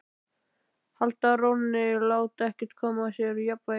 Halda rónni, láta ekkert koma sér úr jafnvægi.